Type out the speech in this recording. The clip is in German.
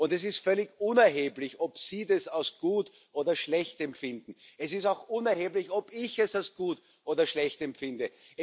Und es ist völlig unerheblich, ob Sie es als gut oder schlecht empfinden, es ist auch unerheblich, ob ich es als gut oder schlecht empfinde.